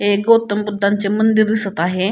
एक गौतम बुद्धांचे मंदिर दिसत आहे.